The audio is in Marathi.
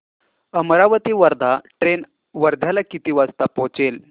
अमरावती वर्धा ट्रेन वर्ध्याला किती वाजता पोहचेल